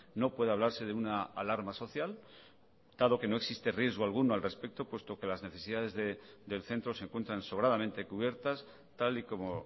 no puede hablarse de una alarma social dado que no existe riesgo alguno al respecto puesto que las necesidades del centro se encuentran sobradamente cubiertas tal y como